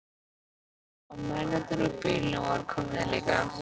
Og mennirnir úr bílunum voru komnir líka.